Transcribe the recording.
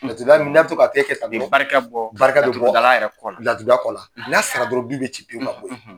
Laturu da la n'a bɛ to ka kɛ kɛ ka bɔ, o bɛ barika bɔ, barika bɛ bɔ laturu da la kɔ, laturu da kɔ la, n'a sa la dɔrɔn du bɛ ci pewu ka bɔ yen.